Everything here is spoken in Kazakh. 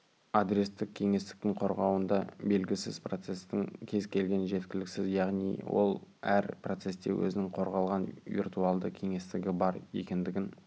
адрестік кеңістіктің қорғауында белгісіз процестің кез-келгені жеткіліксіз яғни ол әр процесте өзінің қорғалған виртуалды кеңістігі бар екендігін